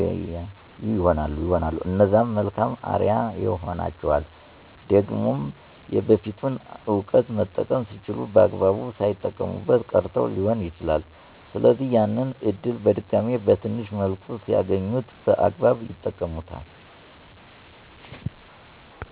ያዩ ይሆናል" እነዛም መልካም አርያ ይሆኗቸዋል። ደግሞም የበፊቱን እዉቀት መጠቀም ሲችሉ በአግባቡ ሳይጠቀሙበት ቀርተዉ ሊሆን ይችላል ስለዚህ፦< ያንን እድል በድጋሜ በትንሽ መልኩ ሲያገኙት> በአግባብ ይጠቀሙበታል።